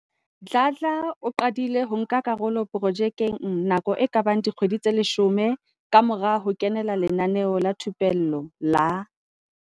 Dladla o qadile ho nka karolo projekeng nako e ka bang dikgwedi tse 10 kamora ho kenela lenaneo la thupello la